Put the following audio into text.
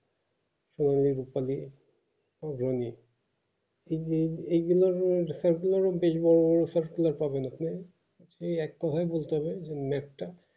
সেগুলো এগুলো সব গুলা পাবো নাকি আর একটু হয় বুলতে হবে অন্য একটা